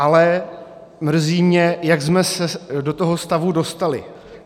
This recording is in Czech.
Ale mrzí mě, jak jsme se do toho stavu dostali.